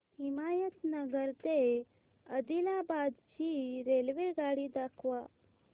हिमायतनगर ते आदिलाबाद ची रेल्वेगाडी दाखवा